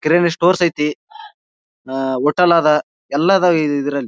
ಕಿರಾಣಿ ಸ್ಟೋರ್ಸ್ ಐತಿ ಅಹ್ ಹೋಟೆಲ್ ಅದ್ ಎಲ್ಲಾ ಅದ್ವ್ ಇದ್ರಲ್ಲಿ.